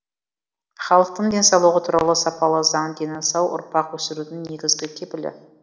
халықтың денсаулығы туралы сапалы заң дені сау ұрпақ өсірудің негізгі кепілі